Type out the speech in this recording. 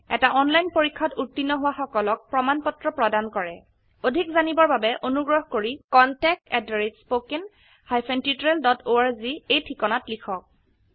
এটা অনলাইন পৰীক্ষাত উত্তীৰ্ণ হোৱা সকলক প্ৰমাণ পত্ৰ প্ৰদান কৰে অধিক জানিবৰ বাবে অনুগ্ৰহ কৰি contactspoken tutorialorg এই ঠিকনাত লিখক